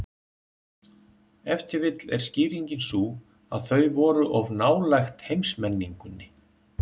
Ef til vill er skýringin sú að þau voru of nálægt heimsmenningunni.